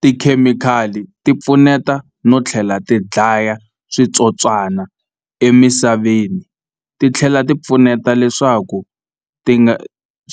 Tikhemikhali ti pfuneta no tlhela ti dlaya switswotswana emisaveni ti tlhela ti pfuneta leswaku ti nga